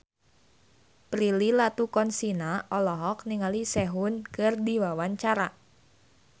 Prilly Latuconsina olohok ningali Sehun keur diwawancara